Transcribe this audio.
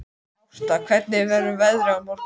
Ásta, hvernig verður veðrið á morgun?